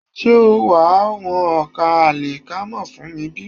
Ṣé wàá wọn ọkà àlìkámà fún mi bí?